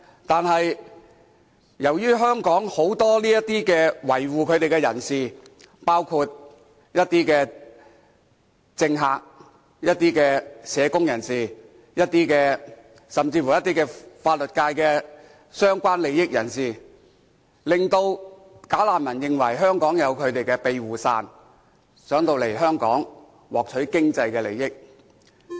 但是，由於香港很多維護他們的人士，包括一些政客、一些社工，甚至乎法律界中一些涉及相關利益的人士，令"假難民"認為香港有他們的庇護傘，想來香港獲取經濟利益。